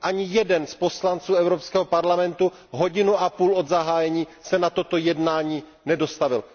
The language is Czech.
Ani jeden z poslanců Evropského parlamentu, hodinu a půl od zahájení, se na toto jednání nedostavil.